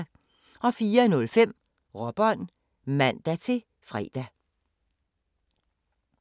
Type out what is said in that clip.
04:05: Råbånd (man-fre)